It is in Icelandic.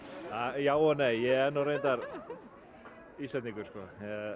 já og nei ég er nú reyndar Íslendingur sko hahaha